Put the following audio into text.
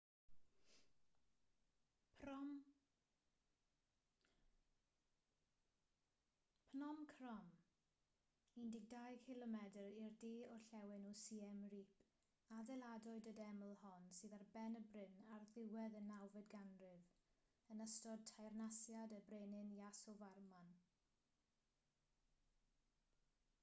phnom krom 12 km i'r de orllewin o siem reap adeiladwyd y deml hon sydd ar ben y bryn ar ddiwedd y 9fed ganrif yn ystod teyrnasiad y brenin yasovarman